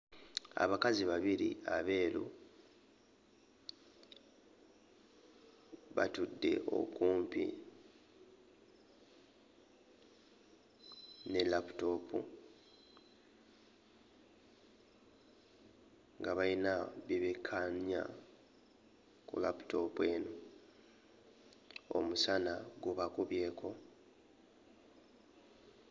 Abakazi babiri abeeru batudde okumpi ne laputoopu nga bayina bye bekkaanya ku laputoopu eno omusana gubakubyeko.